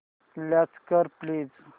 launch कर please